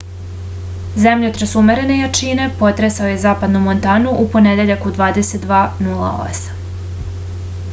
zemljotres umerene jačine potresao je zapadnu montanu u ponedeljak u 22:08